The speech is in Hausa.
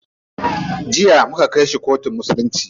Jiya muka kai shi kotun musulunci.